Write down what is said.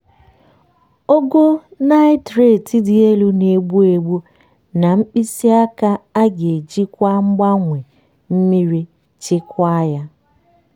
ogo nitrate dị elu na-egbu egbu na mkpịsị aka a ga-ejikwa mgbanwe mmiri chịkwaa ya.